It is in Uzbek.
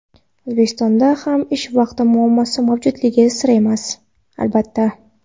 O‘zbekistonda ham ish vaqti muammosi mavjudligi sir emas, albatta.